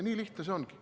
Nii lihtne see ongi.